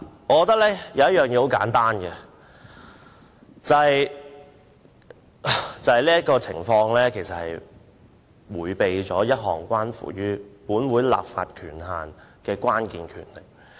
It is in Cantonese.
簡單而言，我覺得當局其實迴避了一項關乎本會立法權限的關鍵權力。